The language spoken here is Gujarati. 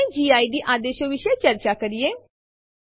તો આપણે એમવી આદેશ સાથે i વિકલ્પ વાપરી શકીએ છીએ